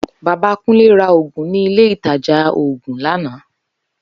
Baba Kunle ra Ògùn ní ilé ìtajà oògùn lánàá